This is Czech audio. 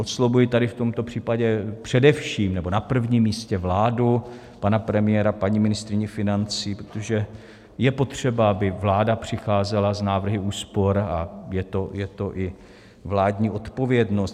Oslovuji tady v tomto případě především, nebo na prvním místě vládu, pana premiéra, paní ministryni financí, protože je potřeba, aby vláda přicházela s návrhy úspor, a je to i vládní odpovědnost.